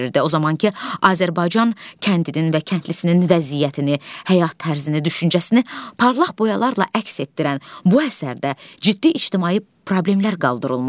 O zamankı Azərbaycan kəndinin və kəndlisinin vəziyyətini, həyat tərzini, düşüncəsini parlaq boyalarla əks etdirən bu əsərdə ciddi ictimai problemlər qaldırılmışdı.